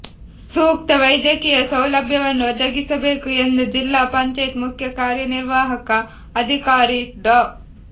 ಸೂಕ್ತ ವೈದ್ಯಕೀಯ ಸೌಲಭ್ಯವನ್ನು ಒದಗಿಸಬೇಕು ಎಂದು ಜಿಲ್ಲಾ ಪಂಚಾಯತ್ ಮುಖ್ಯ ಕಾರ್ಯನಿರ್ವಾಹಕ ಅಧಿಕಾರಿ ಡಾ